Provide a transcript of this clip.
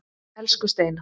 Elsku Steina.